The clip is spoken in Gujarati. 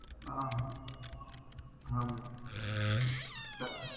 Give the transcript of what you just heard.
હા હા મેમ